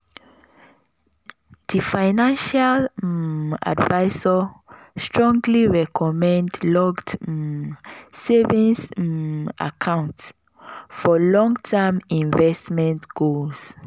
di financial um advisor strongly recommend locked um savings um accounts for long-term investment goals.